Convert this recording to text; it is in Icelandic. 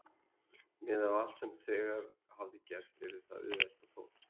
Miðað við allt sem þegar hafði gerst yrði það auðvelt- og þó.